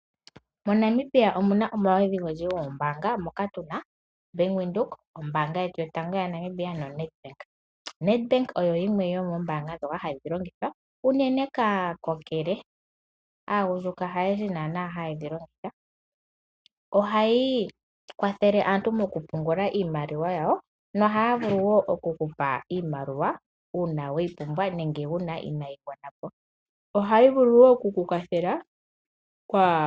MoNamibia omuna omaludhi ofendji geembanga moka tuna ombaanga ya venduka, ombaanga yotango yopashigwana osho woo o Nadbank. O Nadbank oyo yimwe yo moombaanga ndjoka ha dhi longithwa unene kaakokele, haayehe naana ha ye dji longitha, oha yi kwathele aantu mokupungula iimaliwa yawo noha vulu woo oku kupa iimaliwa uuna we yi pumbwa nenge wuna Ina yi gwanapo.